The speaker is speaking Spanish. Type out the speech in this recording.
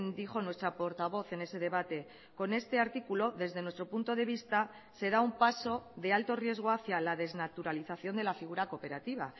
dijo nuestra portavoz en ese debate con este artículo desde nuestro punto de vista se da un paso de alto riesgo hacía la desnaturalización de la figura cooperativa